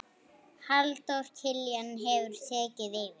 Halldór Kiljan hefur tekið yfir.